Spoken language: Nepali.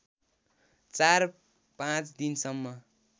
चार पाँच दिनसम्म